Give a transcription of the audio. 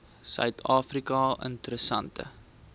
suid afrika interessante